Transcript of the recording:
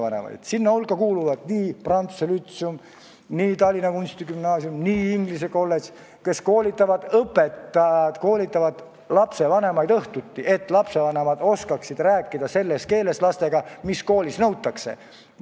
Nende hulka kuuluvad prantsuse lütseum, Tallinna kunstigümnaasium ja inglise kolledž, kus õpetajad koolitavad õhtuti lapsevanemaid, et nad oskaksid rääkida lastega selles keeles, mida koolis nõutakse.